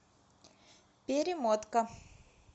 перемотка